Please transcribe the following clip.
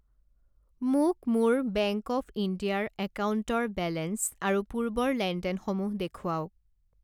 মোক মোৰ bank of India ৰ একাউণ্টৰ বেলেঞ্চ আৰু পূৰ্বৰ লেনদেনসমূহ দেখুৱাওক।